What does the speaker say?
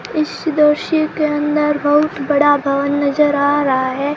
इस दृश्य के अंदर बहुत बड़ा भवन नजर आ रहा है।